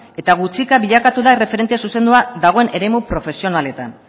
eta gutxika bilakatu da erreferente zuzendua dagoen eremu profesionaletan